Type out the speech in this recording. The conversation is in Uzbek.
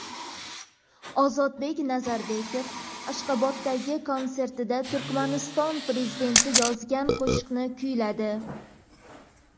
Ozodbek Nazarbekov Ashxoboddagi konsertida Turkmaniston prezidenti yozgan qo‘shiqni kuyladi.